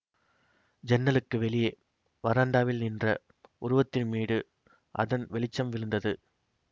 ஜன்னலுக்கு வெளியே வராந்தாவில் நின்ற உருவத்தின் மீது அதன் வெளிச்சம் விழுந்தது